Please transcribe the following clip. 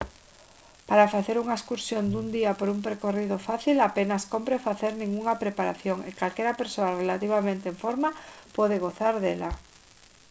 para facer unha excursión dun día por un percorrido fácil apenas cómpre facer ningunha preparación e calquera persoa relativamente en forma pode gozar dela